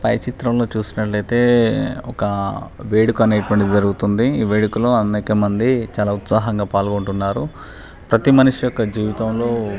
పై చిత్రం లో చూసినట్లయితే ఒక వేడుక అనెతువానటిది జరుగుతుంది ఈ వేడుక లో అనేక మాండి చలా ఉత్సాహంగా పాలగుంటున్నారు. ప్రతి మనిషి యొక్క జీవితంలో --